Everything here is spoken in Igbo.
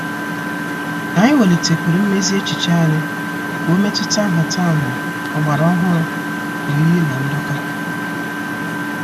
Anyị welitekwuru mmezi echiche anyị ka ọ metuta nhataha ọgbara ọhụrụ oyiyi na ndoka.